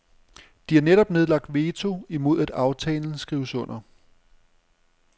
De har netop nedlagt veto imod at aftalen skrives under.